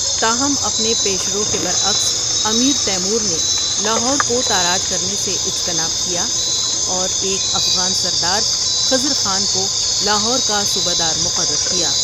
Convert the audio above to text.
تاہم اپنے پیشرو کے برعکس امیر تیمور نے لاہور کو تاراج کرنے سے اجتناب کیا اور ایک افغان سردار خضر خان کو لاہور کا صوبہ دار مقرر کیا ۔